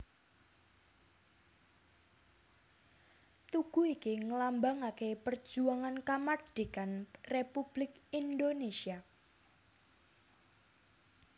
Tugu iki nglambangaké perjuangan kamardhikan Républik Indonésia